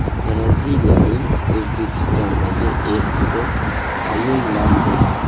Braziliyaning O‘zbekistondagi elchisi tayinlandi.